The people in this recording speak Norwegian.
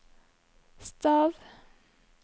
stav